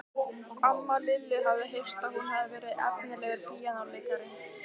Amma Lillu hafði heyrt að hún hefði verið efnilegur píanóleikari.